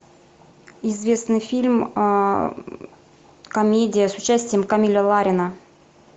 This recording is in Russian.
известный фильм комедия с участием камиля ларина